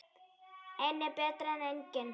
Einn er betri en enginn!